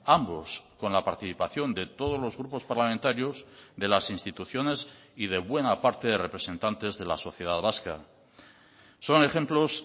ambos con la participación de todos los grupos parlamentarios de las instituciones y de buena parte de representantes de la sociedad vasca son ejemplos